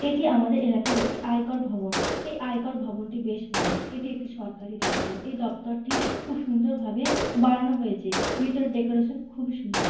এটি আমাদের এলাকার একটি আয়কর ভবন। এই আয়কর ভবনটি বেশ বড়। এটি একটি সরকারি দপ্তর। এই দপ্তরটি খুব সুন্দর ভাবে বানানো হয়েছে। ভেতরের ডেকোরেশন টি খুবই সুন্দর।